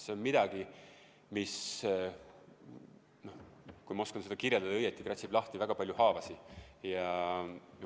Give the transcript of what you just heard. See on midagi, mis, kui ma oskan seda õigesti kirjeldada, kratsib lahti väga palju haavasid.